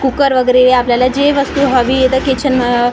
cooker वगैरे आपल्याला जे वस्तू हवी आहे त किचन --